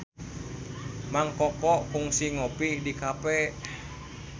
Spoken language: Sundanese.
Mang Koko kungsi ngopi di cafe